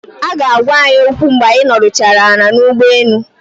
Aga agwa anyi okwu mgbe anyị nọdụchara ala n'ụgbọelu